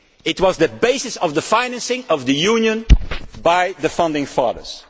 That was the basis of the financing of the Union by the founding fathers.